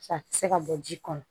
A tɛ se ka bɔ ji kɔnɔ